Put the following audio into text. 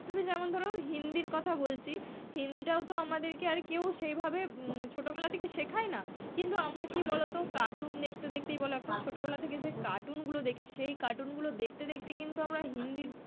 ধরো হিন্দির কথা বলছি, হিন্দিটাও তো আমাদেরকে আর কেউ সেইভাবে ছোটবেলা থেকে শেখায় না, কিন্তু আমরা কি বলতো cartoon দেখতে দেখতেই বলো একটা ছোটবেলা থেকে যে cartoon গুলো দেখি সেই cartoon গুলো দেখতে দেখতে কিন্তু আমরা হিন্দিতে,